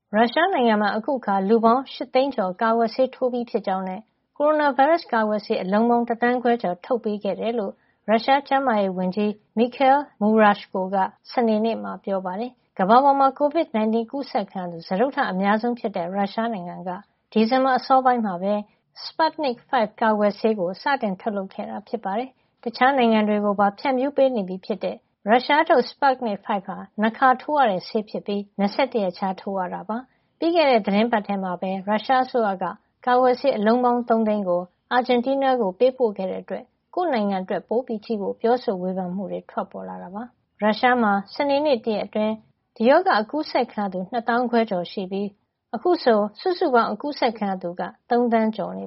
ရုရှားနိုင်ငံမှာ အခုအခါ လူပေါင်း ၈ သိန်းကျော် ကာကွယ်ဆေးထိုးပြီးဖြစ်ကြောင်းနဲ့ ကိုရိုနာဗိုင်းရပ်စ်ကာကွယ်ဆေး အလုံးပေါင်း တသန်းခွဲကျော် ထုတ်ပေးခဲ့ကြောင်း ရုရှားကျန်းမာရေးဝန်ကြီး Mikhail Murashko က စနေနေ့မှာ ပြောပါတယ်။ ကမ္ဘာပေါ်မှာ COVID-19 ကူးစက်ခံရသူ စတုတ္ထမြောက် အများဆုံးဖြစ်တဲ့ ရုရှားနိုင်ငံက ဒီဇင်ဘာလ အစောပိုင်းမှာပဲ Sputnik V ကာကွယ်ဆေးကို စတင်ထုတ်လုပ်ခဲ့တာဖြစ်သလို နောက်ထုတ်ဖို့စီစဉ်ထားတဲ့ ကာကွယ်ဆေး အများအပြားလည်း ရလာဖို့ မျှော်လင့်နေတာပါ။ တခြားနိုင်ငံတွေကိုပါ ဖြန့်ဖြူးပေးနေပြီဖြစ်တဲ့ ရုရှားထုတ် Sputnik V ဟာ ၂ ခါထိုးရတဲ့ ဆေးဖြစ်ပြီး ၂၁ ရက်ခြား ထိုးရတာ ဖြစ်ပါတယ်။ ပြီးခဲ့တဲ့ သီတင်းပတ်ထဲမှာပဲ ရုရှားအစိုးရက ကာကွယ်ဆေးအလုံးပေါင်း ၃ သိန်းကို အာဂျင်တီးနားကို ပေးပို့ခဲ့တဲ့အတွက် ကိုယ့်နိုင်ငံအတွက် ပိုကြည့်ဖို့ ပြောဆိုဝေဖန်မှုတွေ ထွက်ပေါ်လာတာပါ။ ရုရှားမှာ စနေနေ့ တရက်အတွင်း ဒီရောဂါ ကူးစက်ခံရသူ ၂ သောင်းခွဲကျော်နဲ့ သေဆုံးသူ ၄၀၀ ကျော်ရှိနေသလို အခုဆို စုစုပေါင်း ကူးစက်ခံရသူ ၃ သန်းကျော်န